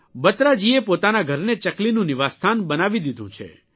બત્રાજીએ પોતાના ઘરને ચકલીનું નિવાસસ્થાન બનાવી દીધું છે